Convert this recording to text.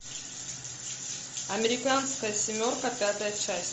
американская семерка пятая часть